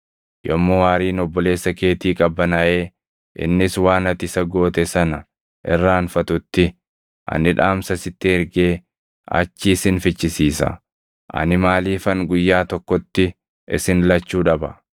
Yommuu aariin obboleessa keetii qabbanaaʼee innis waan ati isa goote sana irraanfatutti ani dhaamsa sitti ergee achii sin fichisiisa. Ani maaliifan guyyaa tokkotti isin lachuu dhaba?”